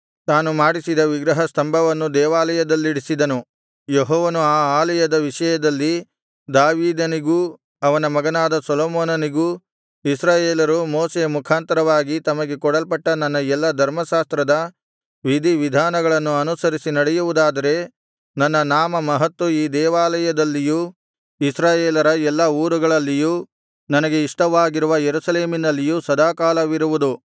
ತಾನು ಮಾಡಿಸಿದ ವಿಗ್ರಹ ಸ್ತಂಭವನ್ನು ದೇವಾಲಯದಲ್ಲಿಡಿಸಿದನು ಯೆಹೋವನು ಆ ಆಲಯದ ವಿಷಯದಲ್ಲಿ ದಾವೀದನಿಗೂ ಅವನ ಮಗನಾದ ಸೊಲೊಮೋನನಿಗೂ ಇಸ್ರಾಯೇಲರು ಮೋಶೆಯ ಮುಖಾಂತರ ತಮಗೆ ಕೊಡಲ್ಪಟ್ಟ ನನ್ನ ಎಲ್ಲಾ ಧರ್ಮಶಾಸ್ತ್ರದ ವಿಧಿವಿಧಾನಗಳನ್ನು ಅನುಸರಿಸಿ ನಡೆಯುವುದಾದರೆ ನನ್ನ ನಾಮಮಹತ್ತು ಈ ದೇವಾಲಯದಲ್ಲಿಯೂ ಇಸ್ರಾಯೇಲರ ಎಲ್ಲಾ ಊರುಗಳಲ್ಲಿಯೂ ನನಗೆ ಇಷ್ಟವಾಗಿರುವ ಯೆರೂಸಲೇಮಿನಲ್ಲಿಯೂ ಸದಾಕಾಲವಿರುವುದು